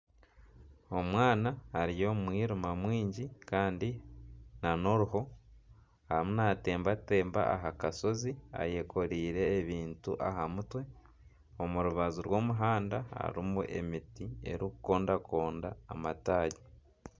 Omwaana ari omu mwirima mwingi kandi nana oruho arimu natembatemba aha kashozi ayekoreire ebintu aha mutwe. Omu rubaju rw'omuhanda harimu emiti erikukondakonda amataagi.